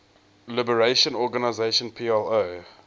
liberation organization plo